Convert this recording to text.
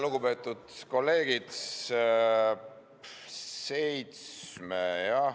Lugupeetud kolleegid!